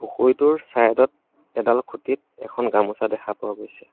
পুখুৰীটোৰ চাইড ত এডাল খুঁটিত এখন গামোচা দেখা পোৱা গৈছে।